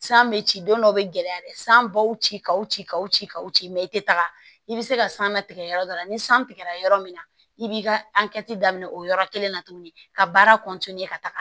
San bɛ ci don dɔ bɛ gɛlɛya dɛ san baw ci k'aw ci kaw ci kaw ci i tɛ taga i bɛ se ka san latigɛ yɔrɔ dɔ la ni san tigɛra yɔrɔ min na i b'i ka daminɛ o yɔrɔ kelen na tuguni ka baara ka taga